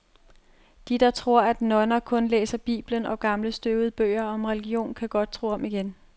De, der tror, at nonner kun læser biblen og gamle støvede bøger om religion, kan godt tro om igen.